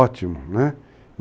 Ótimo, né?